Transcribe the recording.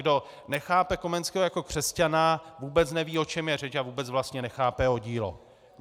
Kdo nechápe Komenského jako křesťana, vůbec neví, o čem je řeč a vůbec vlastně nechápe jeho dílo.